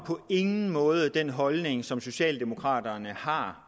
på ingen måde repræsenterer den holdning som socialdemokraterne har